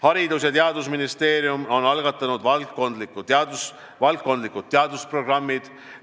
Haridus- ja Teadusministeerium on algatanud valdkondlikud teadusprogrammid.